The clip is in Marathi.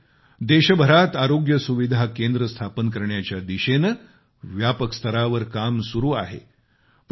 त्यशिवाय देशभरात आरोग्य सुविधा केंद्र स्थापन करण्याच्या दिशेने व्यापक स्तरावर काम सुरु आहे